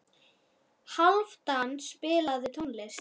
Hálfdan, spilaðu tónlist.